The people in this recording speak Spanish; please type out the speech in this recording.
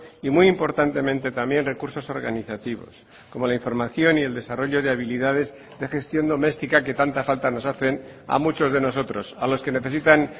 y muy importantemente también recursos organizativos como la información y el desarrollo de habilidades de gestión doméstica que tanta falta nos hacen a muchos de nosotros a los que necesitan